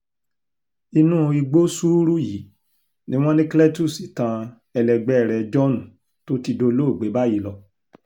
inú igbó sùúrù yìí ni wọ́n ní cletus tán ẹlẹgbẹ́ rẹ̀ john tó ti dolóògbé báyìí lọ